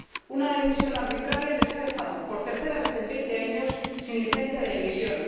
Una decisión arbitraria les ha dejado, por tercera vez en veinte años, sin licencia de emisión.